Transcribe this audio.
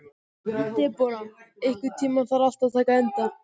Debóra, einhvern tímann þarf allt að taka enda.